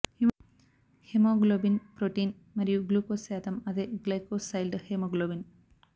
haemoglobin protein మరియు glucose శాతం అదే గ్లైకోసైల్డ్ హిమోగ్లోబిన్